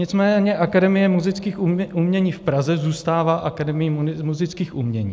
Nicméně Akademie múzických umění v Praze zůstává Akademií múzických umění.